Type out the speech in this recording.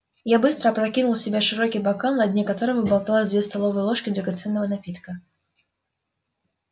я быстро опрокинул в себя широкий бокал на дне которого болталось две столовые ложки драгоценного напитка